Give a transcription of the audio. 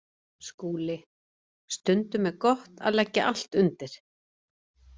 SKÚLI: Stundum er gott að leggja allt undir.